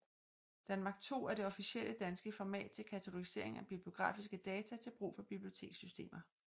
danMARC2 er det officielle danske format til katalogisering af bibliografiske data til brug for bibliotekssystemer